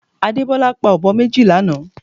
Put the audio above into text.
Adebola pa ọ̀bọ méjì lánàá